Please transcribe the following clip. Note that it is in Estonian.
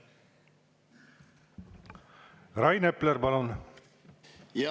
Rain Epler, palun!